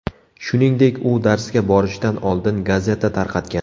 Shuningdek, u darsga borishdan oldin gazeta tarqatgan.